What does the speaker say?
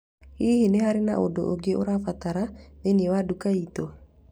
Hihi nĩ harĩ ũndũ ũngĩ ũrabatara thĩinĩ wa duka itũ?